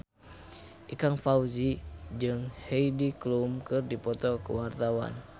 Ikang Fawzi jeung Heidi Klum keur dipoto ku wartawan